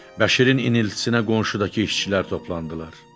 Bəşirin iniltisinə qonşudakı işçilər toplandılar.